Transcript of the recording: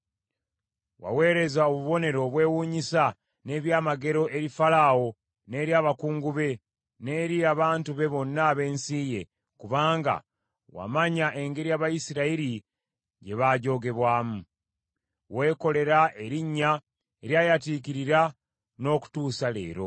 Waweereza obubonero obwewuunyisa n’ebyamagero eri Falaawo, n’eri abakungu be, n’eri abantu be bonna ab’ensi ye, kubanga wamanya engeri Abayisirayiri gye baajoogebwamu. Weekolera erinnya eryayatiikirira, n’okutuusa leero.